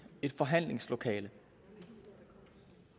et forhandlingslokale